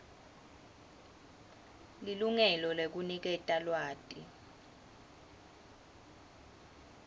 lilungelo lekuniketa lwati